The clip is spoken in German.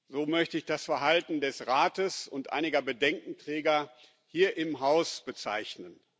So möchte ich das Verhalten des Rates und einiger Bedenkenträger hier im Haus bezeichnen.